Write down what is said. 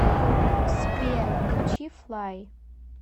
сбер включи флай